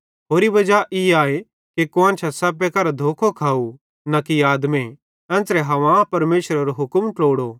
होरि वजा ई आए कि कुआन्शां सप्पे करां धोखो खाव न कि आदमे एन्च़रां हव्वा परमेशरेरो हुक्म ट्लोड़ो